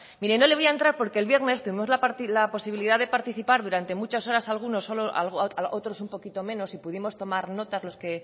mire no le voy a entrar porque el viernes tuvimos la posibilidad de participar durante muchas horas algunos otros un poquito menos y pudimos tomar nota los que